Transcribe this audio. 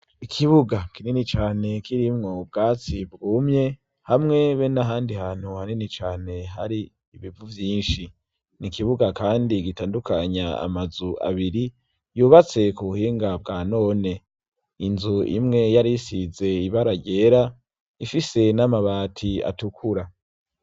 Ikibuga kinini cane kirimwo ubwatsi bwumye hamwe be nahandi hantu hanini cane hari ibivu vyinshi ni kibuga kandi gitandukanya ama nzu abiri yubatse ku buhinga bwa none inzu imwe yari isize ibara ryera ifise n'amabati atukura.